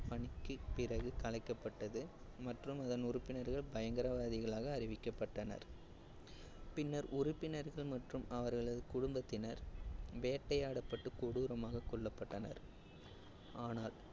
பணிக்கு பிறகு கலைக்கப்பட்டது மற்றும் இதன் உறுப்பினர்கள் பயங்கரவாதிகளாக அறிவிக்கப்பட்டனர். பின்னர் உறுப்பினர்கள் மற்றும் அவர்களது குடும்பத்தினர் வேட்டையாடப்பட்டு கொடூரமாக கொல்லப்பட்டனர் ஆனால்